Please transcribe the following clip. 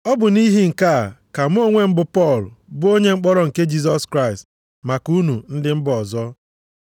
Ọ bụ nʼihi nke a ka mụ onwe m bụ Pọl bụ onye mkpọrọ nke Jisọs Kraịst maka unu ndị mba ọzọ.